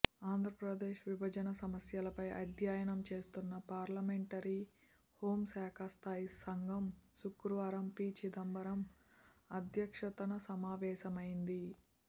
ఆంధ్రప్రదేశ్ విభజన సమస్యలపై అధ్యయనం చేస్తున్న పార్లమెంటరీ హోంశాఖ స్థాయీసంఘం శుక్రవారం పి చిదంబరం అధ్యక్షతన సమావేశమైంది